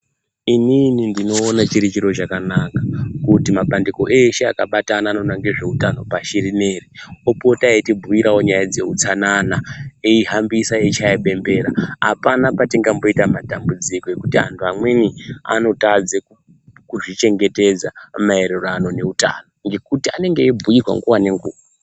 Inini ndoona chiri chiro chakanaka kuti mabandiko eshe akabatana anoona ngezveutano pashi rineri opota eitibhuirawo zveutsanana eihambisa eitshaya bembera hapana patingamboita matambudziko ngekuti antu amweni anotadza kuzvichengetedza maererano neutano ngekuti anenge eibhuirwa nguwa nenguwa .